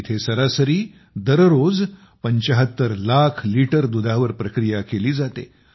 येथे सरासरी दररोज 75 लाख लिटर दुधावर प्रक्रिया केली जाते